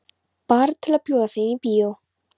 Bara til að bjóða þeim í bíó.